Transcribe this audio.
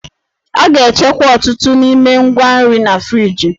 A ga-echekwa ọtụtụ n'ime ngwa nri na friji.